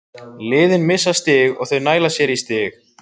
Liðin missa stig og þau næla sér í stig.